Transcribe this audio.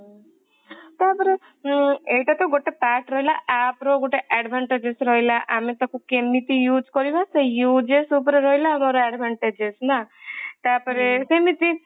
ତାପରେ ଉଁ ଏଇଟା ତ ଗୋଟେ part ରହିଲା appର ଗୋଟେ advantages ରହିଲା ଆମେ ତାକୁ କେମିତି ଇଉଜ କରିବା ସେଇ uses ଦ୍ଵାରା ରହିଲା advantages ନା ହୁଁ ତାପରେ ସେମତି